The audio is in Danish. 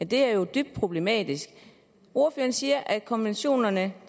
det er jo dybt problematisk ordføreren siger at konventionerne